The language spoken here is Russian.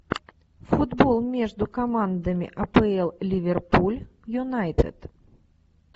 футбол между командами апл ливерпуль юнайтед